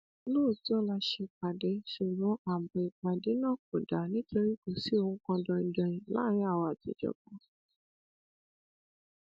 lóòótọ la ṣèpàdé ṣùgbọn ààbò ìpàdé náà kò dáa nítorí kò sí ohun kan danin danin láàárin àwa àtijọba